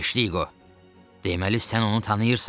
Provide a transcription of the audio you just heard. Teştiqo, deməli sən onu tanıyırsan?